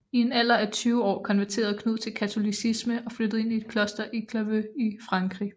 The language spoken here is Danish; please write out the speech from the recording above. I en alder af tyve år konverterede Knud til Katolicisme og flyttede ind i et kloster i Clairvaux i Frankrig